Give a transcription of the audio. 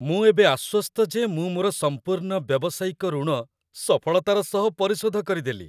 ମୁଁ ଏବେ ଆଶ୍ୱସ୍ତ ଯେ ମୁଁ ମୋର ସମ୍ପୂର୍ଣ୍ଣ ବ୍ୟବସାୟିକ ଋଣ ସଫଳତାର ସହ ପରିଶୋଧ କରିଦେଲି।